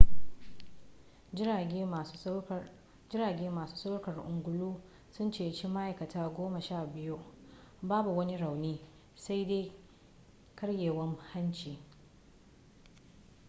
jirage masu saukar ungulu sun ceci ma'aikata goma sha biyu babu wani rauni sai dai karyewar hanci